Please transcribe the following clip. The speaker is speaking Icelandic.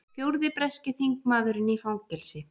Fjórði breski þingmaðurinn í fangelsi